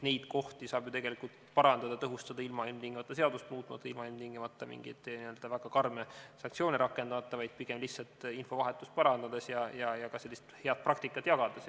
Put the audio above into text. Neid kohti saab ju tegelikult parandada-tõhustada, ilma et peaks tingimata seadust muutma või karme sanktsioone rakendama, vaid lihtsalt infovahetust parandades ja ka sellist head praktikat jagades.